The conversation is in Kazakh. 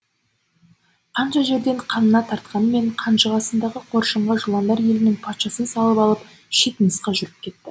қанша жерден қанына тартқанымен қанжығасындағы қоржынға жыландар елінің патшасын салып алып шет мысқа жүріп кетті